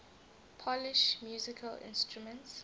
polish musical instruments